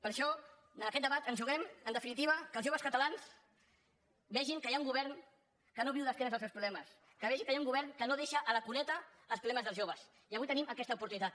per això en aquest debat ens juguem en definitiva que els joves catalans vegin que hi ha un govern que no viu d’esquena als seus problemes que vegi que hi ha un govern que no deixa a la cuneta els problemes dels joves i avui tenim aquesta oportunitat